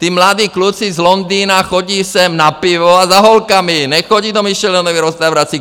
Ti mladí kluci z Londýna chodí sem na pivo a za holkama, nechodí do michelinských restaurací.